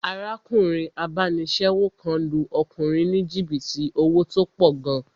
Arákùnrin abánisẹ́wò kan lu ọkùnrin ní jìbìtì owó tó pọ̀ gan